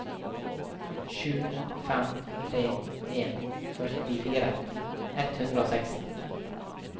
sju fem tre en førtifire ett hundre og seksten